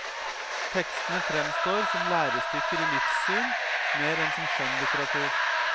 Tekstene fremstår som lærestykker i livssyn mer enn som skjønnlitteratur.